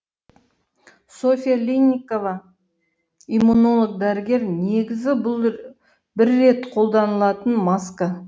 софья линникова иммунолог дәрігер негізі бұл бір рет қолданылатын маска